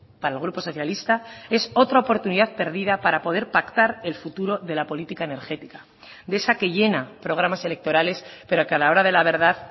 para el grupo socialista es otra oportunidad perdida para poder pactar el futuro de la política energética de esa que llena programas electorales pero que a la hora de la verdad